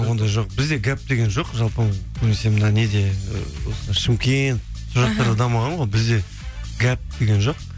ондай жоқ бізде гәп деген жоқ жалпы көбінесе мына неде осы шымкент сол жақтарда дамыған ғой бізде гәп деген жоқ